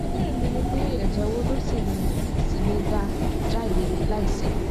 ìbéèrè mi ni pé ẹjẹ wo ló ṣì lè ló ṣì lè dà jáde láìséwu